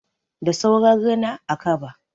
Da sauran rina, a kaba.